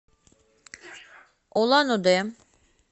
улан удэ